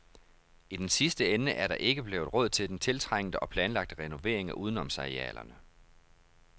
I den sidste ende er der ikke blevet råd til den tiltrængte og planlagte renovering af udenomsarealerne.